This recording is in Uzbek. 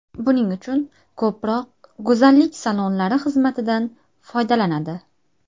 Buning uchun ko‘proq go‘zallik salonlari xizmatidan foydalanadi.